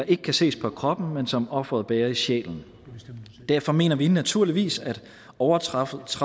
ikke kan ses på kroppen men som offeret bærer i sjælen derfor mener vi naturligvis at overtrædelse